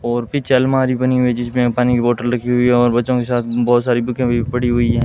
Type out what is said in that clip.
और पीछे अलमारी बनी हुई जिसमें पानी की बोतल रखी हुई है और बच्चों के साथ बहोत सारी बुकें भी पड़ी हुई है।